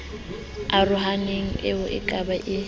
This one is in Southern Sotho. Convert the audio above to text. arohaneng eo o ka e